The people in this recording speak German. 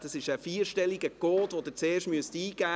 Es ist ein vierstelliger Code, den Sie zuerst eingeben müssen.